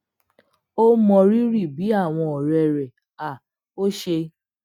ó mọrírì bí awon òré rè um ò ṣe